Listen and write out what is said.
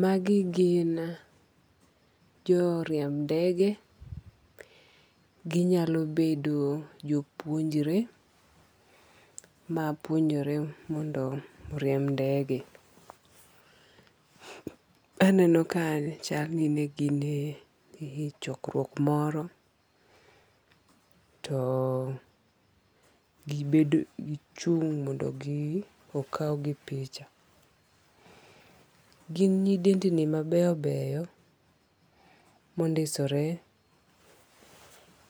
Magi gin jo riemb ndege. Ginyalo bedo jopuonjre mapuonjore mondo oriemb ndege. Aneno ka chal ni ne gin e chokruok moro. To gi chung' mondo okaw gi picha. Gin nyidendni mabeyo beyo mondisore